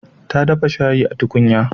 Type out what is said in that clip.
Ta dafa shayi a tukunya.